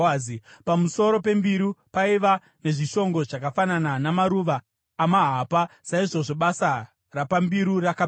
Pamusoro pembiru paiva nezvishongo zvakafanana namaruva amahapa. Saizvozvo basa rapambiru rakapera.